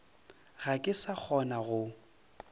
ga ke sa kgona go